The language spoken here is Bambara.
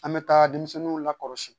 An bɛ taa denmisɛnninw lakɔlɔsi